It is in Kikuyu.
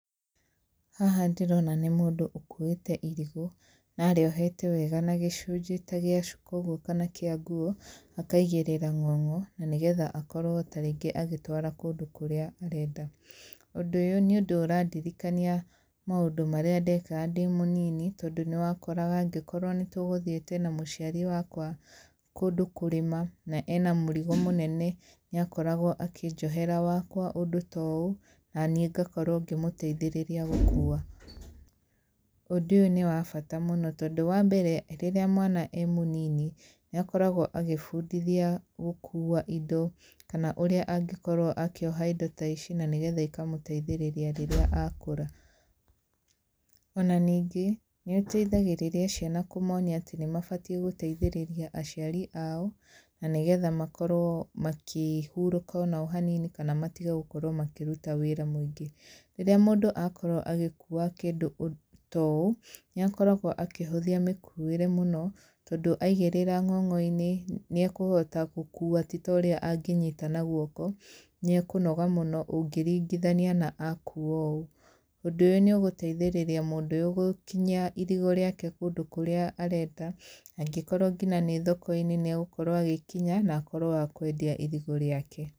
Haha ndĩrona nĩ mũndũ ũkuĩte irigũ na arĩohete wega na gĩcunjĩ gĩa cuka ũguo kana nguo akaigĩrĩra ng'ong'o na nĩgetha akorwo tarĩngĩ agĩtwara kũndũ kũrĩa arenda. Ũndũ ũyũ nĩ ũndũ ũrandirikania maũndũ maria ndekaga ndĩ mũnini, tondũ nĩ wakoraga angĩkorwo nĩ tũgũthiĩte na mũciari wakwa kũndũ kũrĩma na ena mũrigo mũnene ,nĩ akoragwo akĩnjohera wakwa ũndũ ta ũũ na niĩ ngakorwo ngĩmũteithĩrĩria gũkuua. Ũndũ ũyũ nĩ wa bata mũno tondũ wa mbere rĩrĩa mwana e mũnini nĩ akoragwo agĩĩbundithia gũkuua indo kana ũrĩa angĩkorwo akĩoha indo ta ici na nĩgetha ikamũteithĩrĩria rĩrĩa akũra. Ona ningĩ nĩ eteithagĩrĩria ciana kũnonia atĩ nĩ mabatie gũteithĩrĩria aciari ao na nĩgetha makorwo magĩhuruka ona o hanini kana matige gũkorwo makĩruta wĩra mũĩngĩ. Rĩrĩa mũndũ akorwo agĩkuua kĩndũ ta ũũ nĩ akoragwo akĩhũthia mĩkuuĩre mũno tondũ aigĩrĩra ng'ong'o-inĩ nĩ ekũhota gũkuua ti ta ũrĩa angĩnyita na guoko nĩ ekũnoga mũno ũngĩringithania na akuua ũũ. Ũndũ ũyũ nĩ ũgũteithĩrĩria mũndũ ũyũ gũkinyia irigũ rĩake kũndũ kũrĩa arenda, angĩkorwo nginya nĩ thoko-inĩ nĩ agũkorwo agĩkinya na akorwo wa kwendia irigũ rĩake.